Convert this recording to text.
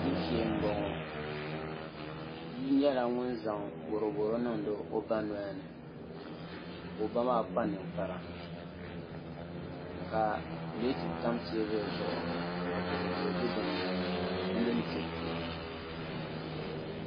Dibu shee n boŋo bia nyɛla ŋun zaŋ boroboro niŋdi o ba nolini ka o ba maa kpa ninkpara ka pileeti tam teebuli zuɣu ka boroboro bɛ dinni di mini diriti